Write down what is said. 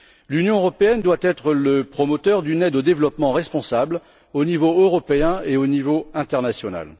L'Union européenne doit être le promoteur d'une aide au développement responsable au niveau européen et au niveau international.